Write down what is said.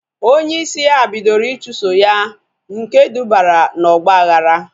Onye isi ya bidoro ichuso ya nke dubara na ọgba aghara